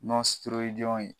ye